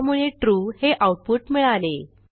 त्यामुळे ट्रू हे आऊटपुट मिळाले